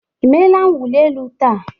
I meela mwụli elu taa?